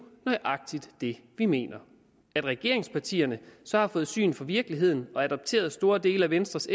nøjagtig det vi mener at regeringspartierne så har fået syn for virkeligheden og adopteret store dele af venstres